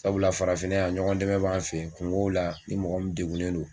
Sabula farafinna yan ɲɔgɔn dɛmɛ b'an fɛ yen kungow la ni mɔgɔ min degunnen don.